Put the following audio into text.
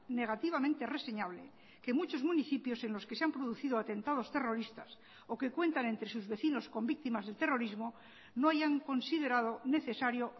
negativamente reseñable que muchos municipios en los que se han producido atentados terroristas o que cuentan entre sus vecinos con víctimas del terrorismo no hayan considerado necesario